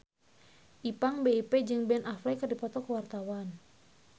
Ipank BIP jeung Ben Affleck keur dipoto ku wartawan